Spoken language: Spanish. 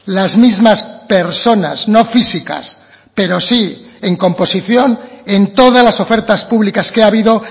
las mismas personas no físicas pero sí en composición en todas las ofertas públicas que ha habido